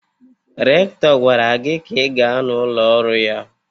Rektọr gwara gị ka ị gaa na ụlọ ọrụ ya!